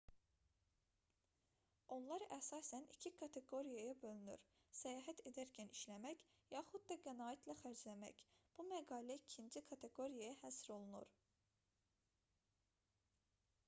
onlar əsasən iki kateqoriyaya bölünür səyahət edərkən işləmək yaxud da qənaətlə xərcləmək bu məqalə ikinci kateqoriyaya həsr olunur